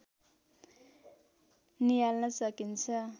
नियाल्न सकिन्छ